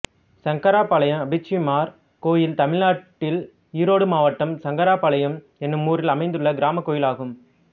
சங்கராபாளையம் அப்பிச்சிமார் கோயில் தமிழ்நாட்டில் ஈரோடு மாவட்டம் சங்கராபாளையம் என்னும் ஊரில் அமைந்துள்ள கிராமக் கோயிலாகும்